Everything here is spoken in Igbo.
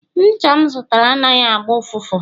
ncha m zụtara anaghị agba ụfụfụ